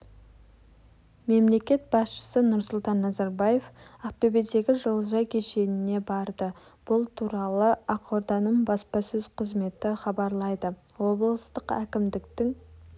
мемлекет басшысы нұрсұлтан назарбаев ақтөбедегі жылыжай кешеніне барды бұл туралы ақорданың баспасөз қызметі хабарлайды облыстық әкімдіктің